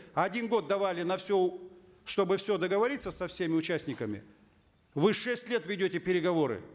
один год давали на все чтобы все договориться со всеми участниками вы шесть лет ведете переговоры